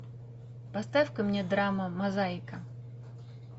поставь ка мне драма мозаика